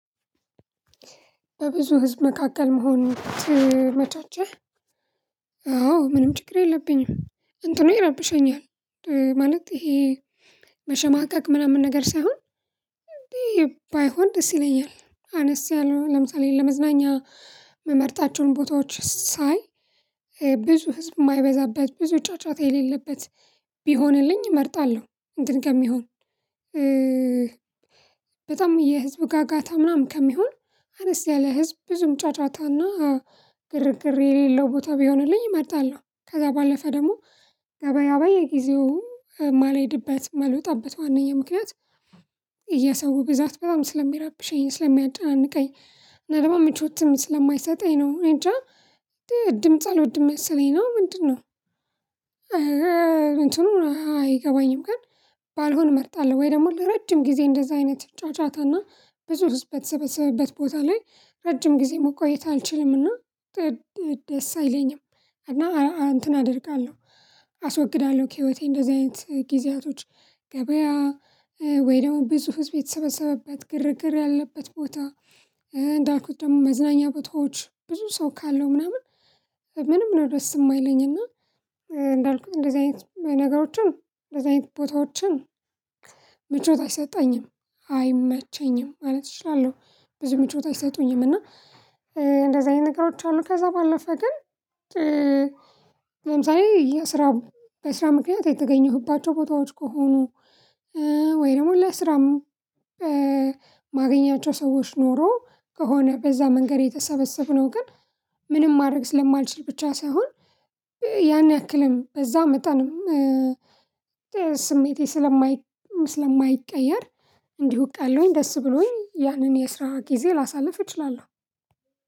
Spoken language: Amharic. በብዙ ህዝብ መካከል መሆን ትመቻቸህ? አዎ ምንም ችግር የለብኝም እንትኑ ይረብሸኛል። ማለት ይሄ መሸማቀቅ ምናምን ነገር ሳይሆን እንዴ ባይሆን ደስ ይለኛል። አነስ ያለው ለምሳሌ ለመዝናኛ የምመርጣቸውን ቦታዎች ሳይ ብዙ ህዝብ የማይበዛበት ብዙ ጫጫታ የሌለበት ቢሆንልኝ እመርጣለሁ። እንትን ከሚሆን በጣም የህዝብ ጋጋታ ምናምን ከሚሆን አነስ ያለ ህዝብ ብዙም ጫጫታና ግርግር የሌለው ቦታ ቢሆንልኝ እመርጣለሁ። ከዛ ባለፈ ደግሞ ገበያ በየጊዜው ማልሄድበት ማልወጣበት ዋናኛው ምክንያት የሰው ብዛት በጣም ስለሚራብሸኝ ስለሚያጨናንቀኝ እና ምቾትም ስለማይሰጠኝ ነው። እኔ እንጃ ድምጽ አልወድም መሰለኝ ነው። ምንድነው? እንትኑ አይገባኝም ግን ባልሆን እመርጣለሁ ወይ ደግሞ ለረጅም ጊዜ እንደዛ አይነት ጫጫታና ብዙ ህዝብ በተሰበሰበበት ቦታ ላይ ረጅም ጊዜ መቆየት አልችልምና። ደስ አይለኝም እና እንትን አደርጋለሁ። አስወግዳለሁ ከህይወቴ እንደዚህ አይነት ጊዜያቶች ገበያ ወይ ደግሞ ብዙ ህዝብ የተሰበሰበበት ግርግር ያለበት ቦታ። እንዳልኩት ደግሞ መዝናኛ ቦታዎች ብዙ ሰው ካለው ምናምን ምንም ነው ደስ የማይለኝ እና። እንዳልኩት እንደዚህ አይነት ነገሮችን እንደዚህ አይነት ቦታዎችን ምቾት አይሰጠኝም አይመቸኝም ማለት እችላለሁ። ብዙ ምቾት አይሰጡኝም እና እንደዛ አይነት ነገሮች አሉ። ከዛ ባለፈ ግን ለምሳሌ የስራ በስራ ምክንያት የተገኘሁባቸው ቦታዎች ከሆኑ ወይ ደግሞ ለስራ ማገኛቸው ሰዎች ኖሮ ከሆነ በዛ መንገድ የተሰበሰብነው ግን ምንም ማድረግ ስለማልችል ብቻ ሳይሆን ያን ያክልም በዛ መጣንም። ስሜቴ ስለማይ ስለማይቀየር እንዲሁ አውቃለሁኝ ደስ ብሎኝ ያንን የአስራ ሃያ ጊዜ ላሳልፍ እችላለሁ።